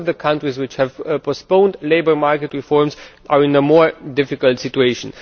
All of the countries which have postponed labour market reforms are in a more difficult situation.